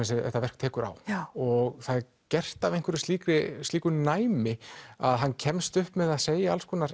þetta verk tekur á og það er gert af slíku slíku næmi að hann kemst upp með að segja alls konar